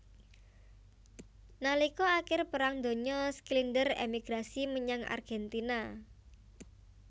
Nalika akir Perang Donya Schindler emigrasi menyang Argentina